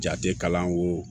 Jate kalan ko